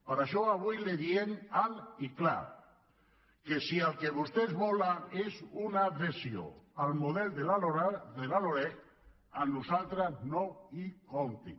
per això avui els diem alt i clar que si el que vostès volen és una adhesió al model de la loreg amb nosaltres no hi comptin